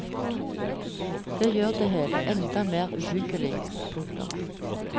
Det gjør det hele enda mer uhyggelig. punktum